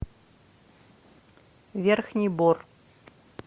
верхний бор